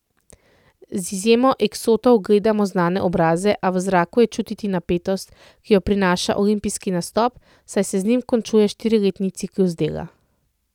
Z izjemo eksotov gledamo znane obraze, a v zraku je čutiti napetost, ki jo prinaša olimpijski nastop, saj se z njim končuje štiriletni ciklus dela.